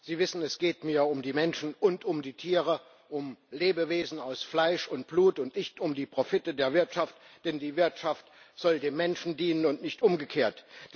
Sie wissen, es geht mir um die Menschen und um die Tiere um Lebewesen aus Fleisch und Blut und nicht um die Profite der Wirtschaft. Denn die Wirtschaft soll dem Menschen dienen und nicht umgekehrt.